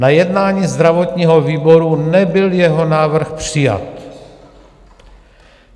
Na jednání zdravotního výboru nebyl jeho návrh přijat.